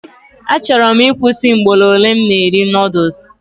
Achọrọ m ịkwụsị mgboro ole m na eri noodules